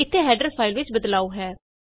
ਇਥੇ header file ਚ ਬਦਲਾਉ ਹੈ